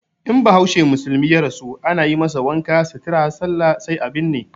In bahaushe musulmi ya rasu ana yi masa wanka, sutura, sallah sai a binne.